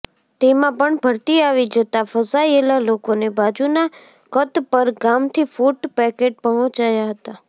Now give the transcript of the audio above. તેમાં પણ ભરતી આવી જતાં ફસાયેલા લોકોને બાજુના કતપર ગામથી ફુટ પેકેટ પહોંચાયા હતા